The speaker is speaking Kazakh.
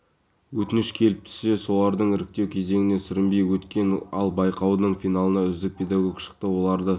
әлеуметтік бағдарламалар азаматтарға арналған үкімет мемлекеттік корпорациясы бірыңғай жинақтаушы зейнетақы қоры тұрғын үй құрылыс жинақ